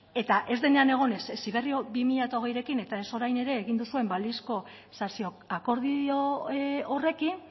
eta ez denean egon ez heziberri bi mila hogeirekin eta ez orain ere egin duzuen balizko sasiakordio horrekin